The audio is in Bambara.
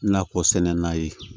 Nakɔ sɛnɛ n'a ye